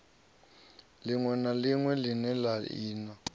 ḽiṋwe na ḽiṋwe ḽine lṅa